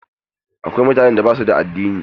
Akwai mutane da basu da addini.